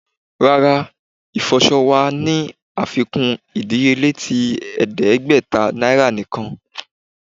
Rara, ifọṣọ wa ni afikun idiyele ti ẹdẹgbẹta niara nikan